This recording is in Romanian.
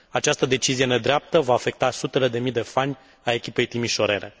Această decizie nedreaptă va afecta sutele de mii de fani ai echipei timișorene.